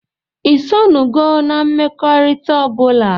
Isonugo na mmekọrita ọbụla?